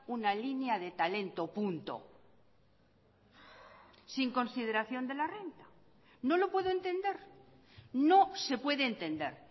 una línea de talento punto sin consideración de la renta no lo puedo entender no se puede entender